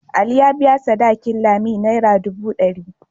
Ali ya biya sadakin Lami naira dubu dari.